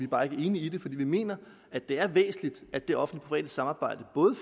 bare ikke enige i det fordi vi mener at det er væsentligt at det offentlig private samarbejde både